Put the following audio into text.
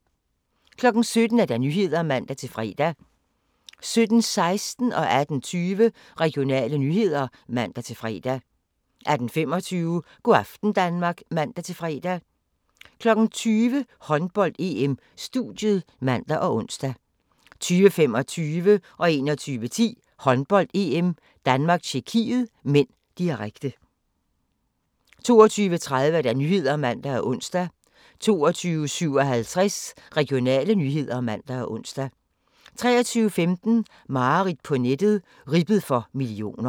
17:00: Nyhederne (man-fre) 17:16: Regionale nyheder (man-fre) 18:20: Regionale nyheder (man-fre) 18:25: Go' aften Danmark (man-fre) 20:00: Håndbold: EM - studiet (man og ons) 20:25: Håndbold: EM - Danmark-Tjekkiet (m), direkte 21:10: Håndbold: EM - Danmark-Tjekkiet (m), direkte 22:30: Nyhederne (man og ons) 22:57: Regionale nyheder (man og ons) 23:15: Mareridt på nettet – ribbet for millioner